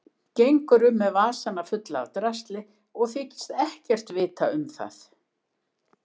Gengur um með vasana fulla af drasli og þykist ekkert vita um það.